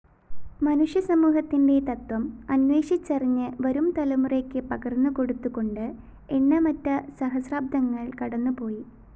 മനുഷ്യസമൂഹത്തിന്റെ തത്വം അന്വേഷിച്ചറിഞ്ഞ് വരുംതലമുറയ്ക്കു പകര്‍ന്നുകൊടുത്തുകൊണ്ട് എണ്ണമറ്റ സഹസ്രാബ്ദങ്ങള്‍ കടന്നുപോയി